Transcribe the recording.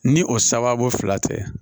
Ni o sababu fila tɛ